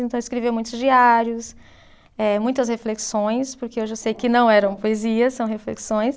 Então, eu escrevia muitos diários, eh muitas reflexões, porque eu já sei que não eram poesias, são reflexões.